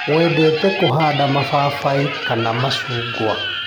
Wendete kũhanda mababaĩ kana macungwa.